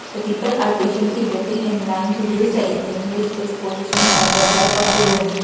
the people are patiently waiting in line to use the A_T_M which is positioned at the back of the room.